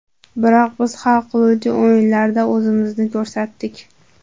Biroq biz hal qiluvchi o‘yinlarda o‘zimizni ko‘rsatdik.